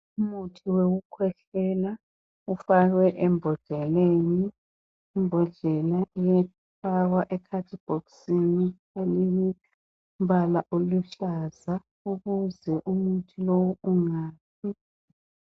Umuthi wokukhwehlela ,ufakwe embodleleni . Imbodlela iyafakwa ekhadibhokisini elilombala oluhlaza ukuze umuthi lowu ungafi.